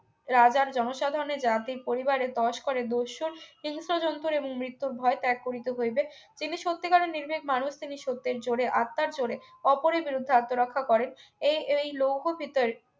রাজার জনসাধারণের জাতি পরিবারে তস্করের দস্যুর হিংস্র জন্ত এবং মৃত্যুর ভয় ত্যাগ করিতে হইবে তিনি সত্যি কারের নির্ভীক মানুষ তিনি সত্যের জোড়ে আত্মার জোড়ে অপরের বিরুদ্ধে আত্মরক্ষা করেন এই এই লৌহতিতের